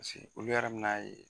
Paseke olu yɛrɛ mi na ye